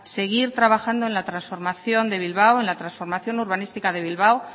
seguir trabajando en la transformación de bilbao en la transformación urbanística de bilbao